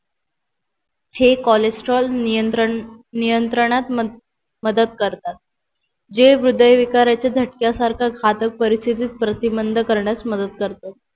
हे cholesterol नियंत्रण नियंत्रणात मदत करतात जे हृदय विकाराच्या झटक्या सारख घातक परिस्तितीत प्रतिमंद करण्यास मदत करतात